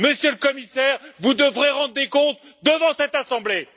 Monsieur le Commissaire, vous devrez rendre des comptes devant cette assemblée.